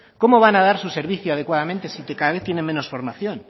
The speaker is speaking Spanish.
cómo van a dar su servicio adecuadamente si cada vez tienen menos formación